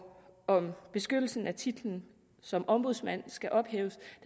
om beskyttelsen af titlen som ombudsmand skal ophæves